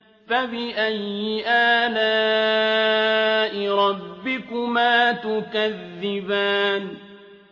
فَبِأَيِّ آلَاءِ رَبِّكُمَا تُكَذِّبَانِ